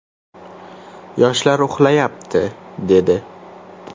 Yoshlar uxlayapti, dedi.